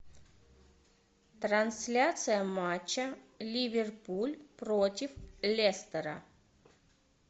трансляция матча ливерпуль против лестера